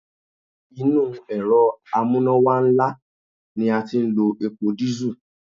Inú Èrọ amúnáwá ńlá ni a ti ń lo epo dísù.